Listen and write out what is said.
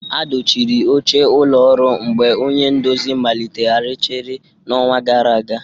A dochiri oche ụlọ ọrụ mgbe onye nduzi maliteghachiri n'ọnwa gara aga